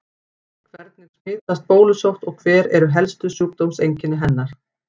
Hvernig smitast bólusótt og hver eru helstu sjúkdómseinkenni hennar?